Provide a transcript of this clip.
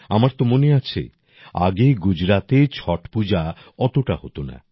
আমার তো মনে আছে আগে গুজরাতে ছট পূজা অতটা হত না